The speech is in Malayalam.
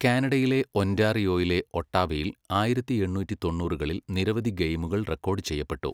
കാനഡയിലെ ഒന്റാറിയോയിലെ ഒട്ടാവയിൽ ആയിരത്തി എണ്ണൂറ്റി തൊണ്ണൂറുകളിൽ നിരവധി ഗെയിമുകൾ റെക്കോഡ് ചെയ്യപ്പെട്ടു.